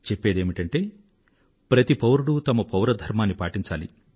చెప్పేదేమిటంటే ప్రతి పౌరుడూ పౌర ధర్మాన్ని పాటించాలి